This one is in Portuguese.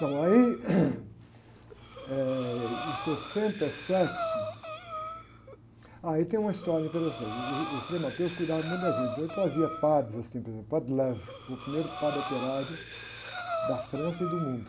Então, aí em sessenta e sete, aí tem uma história interessante, uh, o Frei cuidava muito da gente, então ele trazia padres assim, por exemplo, padre, foi o primeiro padre operário da França e do mundo.